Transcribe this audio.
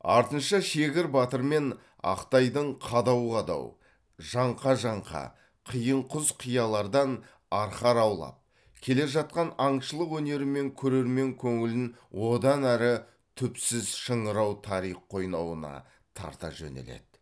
артынша шегір батыр мен ақтайдың қадау қадау жаңқа жаңқа қиын құз қиялардан арқар аулап келе жатқан аңшылық өнерімен көрермен көңілін одан ары түпсіз шыңырау тарих қойнауына тарта жөнеледі